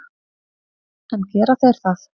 En gera þeir það?